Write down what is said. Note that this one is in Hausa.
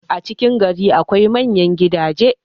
a cikin gari akwai manyan gidaje